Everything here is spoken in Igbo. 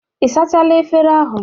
Ị sachala efere ahụ?